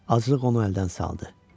Azlıq onu əldən saldı.